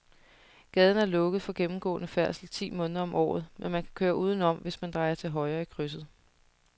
Gaden er lukket for gennemgående færdsel ti måneder om året, men man kan køre udenom, hvis man drejer til højre i krydset.